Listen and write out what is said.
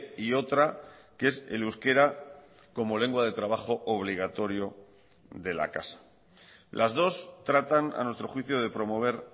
y otra que es el euskera como lengua de trabajo obligatorio de la casa las dos tratan a nuestro juicio de promover